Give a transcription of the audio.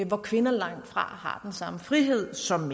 hvor kvinder langtfra har den samme frihed som